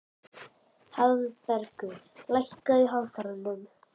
Hagbarður, lækkaðu í hátalaranum.